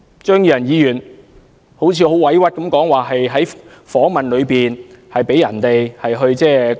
張宇人議員說得很委屈，指他在訪問時被人硬塞了一些說話。